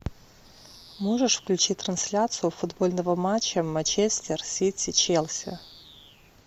можешь включить трансляцию футбольного матча манчестер сити челси